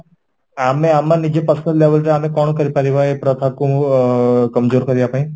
ଆଛା ଆମେ ଆମ ନିଜ personal level ରେ କଣ କରି ପାରିବ ଏଇ ପ୍ରଥା କୁ କରିବା ପାଇଁ?